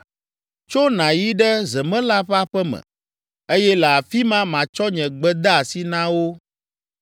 “Tso nàyi ɖe zemela ƒe aƒe me, eye le afi ma matsɔ nye gbedeasi na wo.”